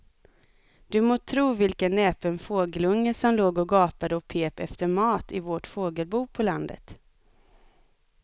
Du må tro vilken näpen fågelunge som låg och gapade och pep efter mat i vårt fågelbo på landet.